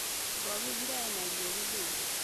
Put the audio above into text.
Mũrwaru augire ena ruo gĩthũri